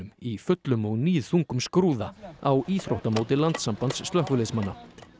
í fullum og níðþungum skrúða á íþróttamóti landssambands slökkviliðsmanna